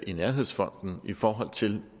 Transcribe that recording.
i nærhedsfonden i forhold til